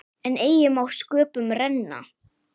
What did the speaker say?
En eigi má sköpum renna.